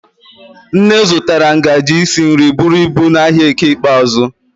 Nne zụtara ngaji isi nri buru ibu n'ahịa eke ikpeazụ.